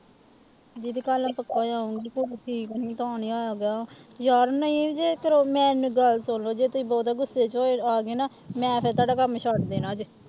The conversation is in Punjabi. ਦੀਦੀ ਕੱਲ੍ਹ ਮੈਂ ਪੱਕਾ ਆ ਜਾਊਂਗੀ ਫਿਰ ਤੁਸੀਂ ਗਿਆ ਯਾਰ ਨਹੀਂ ਜੇ ਫਿਰ ਮੇਰੀ ਗੱਲ ਸੁਣ ਲਓ ਜੇ ਤੁਸੀਂ ਬਹੁਤਾ ਗੁੱਸੇ ਚ ਹੋਏ ਆ ਗਏ ਨਾ ਮੈਂ ਫਿਰ ਤੁਹਾਡਾ ਕੰਮ ਛੱਡ ਦੇਣਾ ਜੇ